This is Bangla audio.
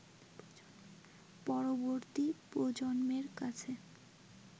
পরবর্তী প্রজন্মের কাছে